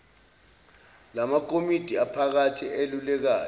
lamakomidi aphakade elulekayo